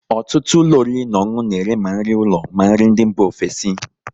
Ọtụtụ ụlọ oriri na ọṅụnụ na ere ma nri ụlọ ma nri ndị mba ofesi